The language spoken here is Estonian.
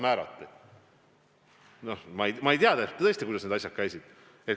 Ma ei tea tõesti, kuidas need asjad käisid.